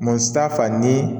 fa ni